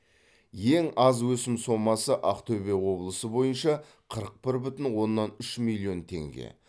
ең аз өсім сомасы ақтөбе облысы бойынша қырық бір бүтін оннан үш миллион теңге